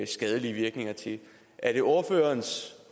skadelige virkninger er det ordførerens